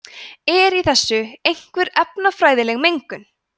er í þessu einhver efnafræðileg mengun